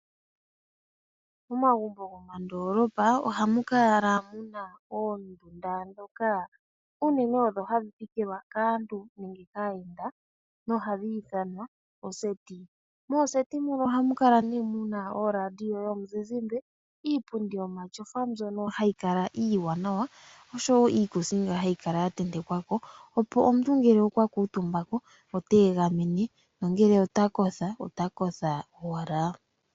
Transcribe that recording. Momagumbo gomoondolopa ohamu kala muna oondunda dhoka uunene odho hadhi thikilwa kaantu nenge kaayenda na ohadhi ithanwa oseti. Moseti muka ohamu kala muna oradio yomuzizimba, iipundi yomashofa mbyoka hayi kala iiwanawa osho wo iikusinga hayi kala ya tentekwako, opo omuntu ngele okwa kuutumbako ota egamene nongele ota kotha, ota kotha owala.